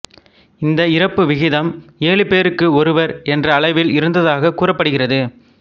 இந்த இறப்பு விகிதம் ஏழுபேருக்கு ஒருவர் என்ற அளவில் இருந்ததாகக் கூறப்படுகிறது